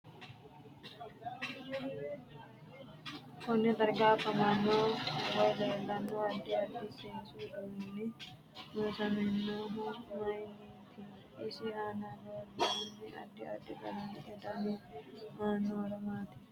Konne darga afamanno woy leelanno addi addi seesu uduuni loosaminohu mayiiniit isi aana buurooni addi addi qalamete dani aano horo maati